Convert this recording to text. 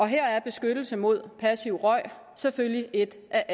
her er beskyttelse mod passiv rygning selvfølgelig et af